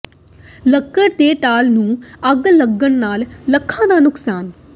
ਲੱਕੜ ਦੇ ਟਾਲ ਨੂੰ ਅੱਗ ਲੱਗਣ ਨਾਲ ਲੱਖਾਂ ਦਾ ਨੁਕਸਾਨ